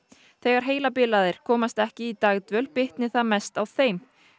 þegar heilabilaðir komast ekki í dagdvöl bitni það mest á þeim